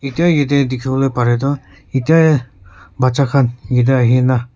etia yete dikhiwoleh pareh du etia baccha khan yedeh ahina cr--